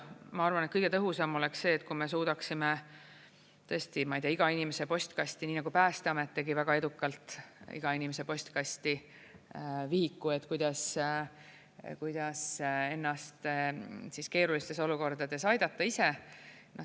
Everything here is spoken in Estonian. Ma arvan, et kõige tõhusam oleks see, kui me suudaksime tõesti, ma ei tea, iga inimese postkasti, nii nagu Päästeamet tegi väga edukalt iga inimese postkasti vihiku, kuidas ennast keerulistes olukordades aidata ise.